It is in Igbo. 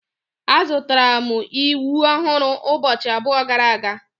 Azụtara m ịwụ ọhụrụ ụbọchị abụọ gara aga.